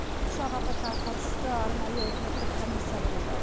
ұшақ апатына қатысты арнайы үкіметтік комиссия құрылды